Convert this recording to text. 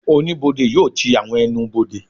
Oníbodè yóò ti àwọn ẹnubodè